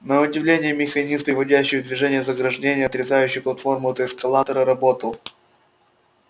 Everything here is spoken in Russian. на удивление механизм приводящий в движение заграждение отрезающее платформу от эскалатора работал